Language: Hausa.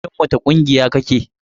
A cikin wace ƙungiya kake?